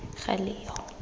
galeyo